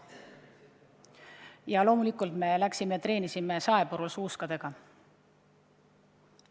Ja loomulikult me läksime ja treenisime suuskadega saepurul.